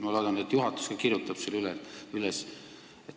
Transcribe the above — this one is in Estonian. Ma loodan, et juhatus kirjutab selle üles.